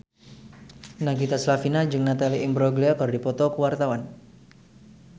Nagita Slavina jeung Natalie Imbruglia keur dipoto ku wartawan